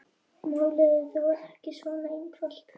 Málið er þó ekki svona einfalt.